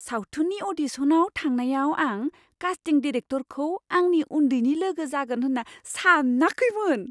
सावथुननि अ'डिशनाव थांनायाव आं कास्टिं डिरेक्टरखौ आंनि उन्दैनि लोगो जागोन होन्ना सानाखैमोन!